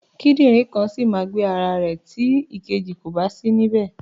Kídìrìn kan ṣì ma gbé ara ró tí ìkejì kòbá sí ní bẹ̀.